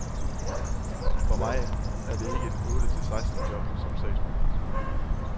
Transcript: For mig er det ikke et otte til seksten job som sagsbehandler.